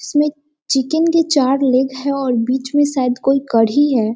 इसमें चिकन की चार लेग हैं और बीच में शायद कोई कड़ी हैं।